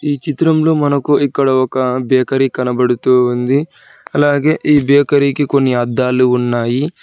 ఈ చిత్రంలో మనకు ఇక్కడ ఒక బేకరీ కనపడుతు ఉంది అలాగే ఈ బేకరీ కి కొన్ని అద్దాలు ఉన్నాయి.